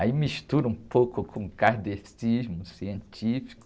Aí mistura um pouco com o kardecismo científico.